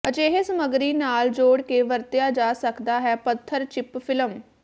ਅਜਿਹੇ ਸਮੱਗਰੀ ਨਾਲ ਜੋੜ ਕੇ ਵਰਤਿਆ ਜਾ ਸਕਦਾ ਹੈ ਪੱਥਰ ਚਿੱਪ ਫਿਲਮ